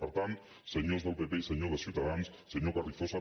per tant senyors del pp i senyors de ciutadans senyor carrizosa